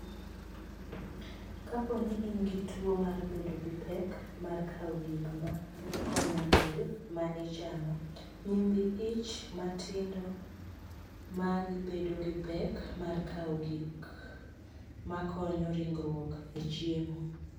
Kapo ni in gi tuwo mar bedo gi pek mar kawo gik ma konyo del ma ichamo, Nyimbi ich matindo magi bedo gi pek mar kawo gik ma konyo ringruok e chiemo .